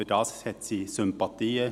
der BaK. Dafür hat sie Sympathien.